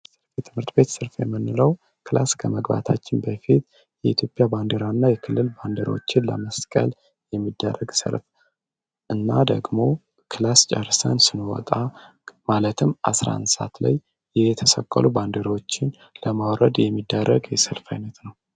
የትምህርት ቤት ሰልፍ የምንለው ክላስ ከመግባታችን በፊት የኢትዮጵያ ባንዲራ እና የክልል ባንዲራዎች ለመስቀል የሚደረግ ሰለፍ እና ደግሞ ክላስ ጨረሰን ስንወጣ 11 ሰዓት ላይ የተሰቀሉ ባንዲራዎችን ለማውረድ የሚደረግ የሰልፍ አይነት ነው።